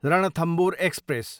Ranthambore express